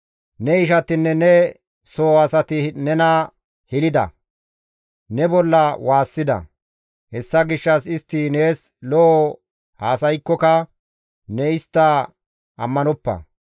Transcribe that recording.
Ne ishatinne ne soho asati nena hilida; ne bolla waassida; hessa gishshas istti nees lo7o haasaykkoka ne istta ammanoppa.